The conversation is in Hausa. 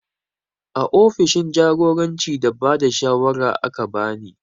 A ofishin jagoranci da bada shawara aka bani